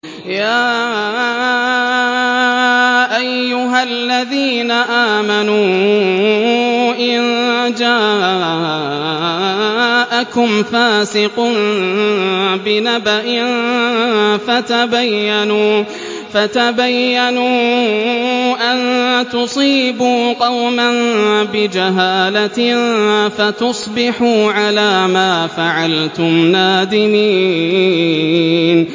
يَا أَيُّهَا الَّذِينَ آمَنُوا إِن جَاءَكُمْ فَاسِقٌ بِنَبَإٍ فَتَبَيَّنُوا أَن تُصِيبُوا قَوْمًا بِجَهَالَةٍ فَتُصْبِحُوا عَلَىٰ مَا فَعَلْتُمْ نَادِمِينَ